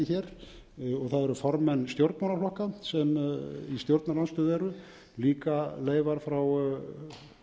hér það eru formenn stjórnmálaflokka sem í stjórnarandstöðu eru líka leifar frá